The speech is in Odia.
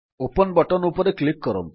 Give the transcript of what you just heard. ଓପନ୍ ବଟନ୍ ଉପରେ କ୍ଲିକ୍ କରନ୍ତୁ